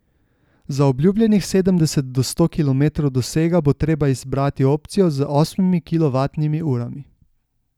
Za obljubljenih sedemdeset do sto kilometrov dosega bo treba izbrati opcijo z osmimi kilovatnimi urami.